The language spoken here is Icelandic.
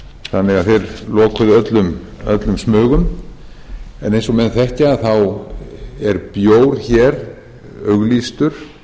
þeir lokuðu öllum smugum en eins og menn þekkja er bjór hér auglýstur